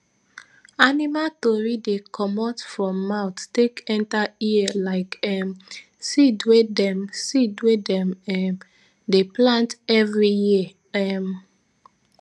animal tori dey commot from mouth take enta ear like um seed wey dem seed wey dem um dey plant evri year um